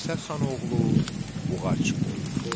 Dirsə xanoğlu Buğac boyu.